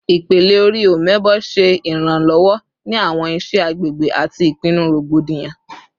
Ipele-ori "Omebo" ṣe iranlọwọ ni awọn iṣẹ agbegbe ati ipinnu rogbodiyan